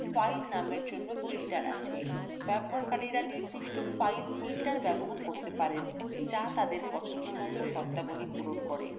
files নামএর জন্য filters আছেব্যবহারকারীরা নির্দিষ্ট files filters করতে পারেন যা তাদের পছন্দমত শর্তাবলী পূরণ করে